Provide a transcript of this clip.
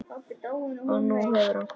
Og nú hefur hann kvatt.